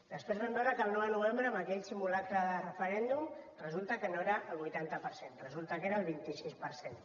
després vam veure que el nou de novembre amb aquell simulacre de referèndum resulta que no era el vuitanta per cent resulta que era el vint sis per cent